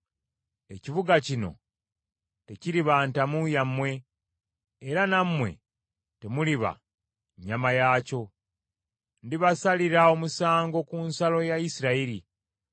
Ekibuga kino tekiriba ntamu yammwe, era nammwe temuliba nnyama yaakyo. Ndibasalira omusango ku nsalo ya Isirayiri.